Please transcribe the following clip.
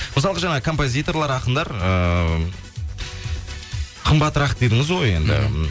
мысалғы жаңа композиторлар ақындар ыыы қымбатырақ дедіңіз ғой енді мхм